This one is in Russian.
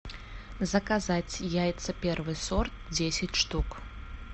заказать яйца первый сорт десять штук